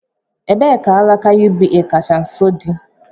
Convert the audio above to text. Ebee ka alaka UBA kacha nso dị?